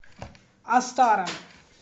астара